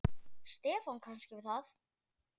Stefán kannast við það.